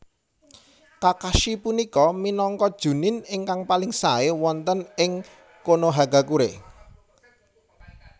Kakashi punika minangka Jounin ingkang paling sae wonten ing Konohagakure